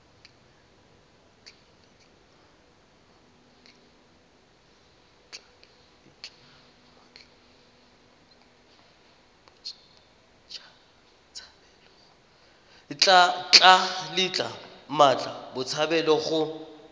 tla letla mmatla botshabelo go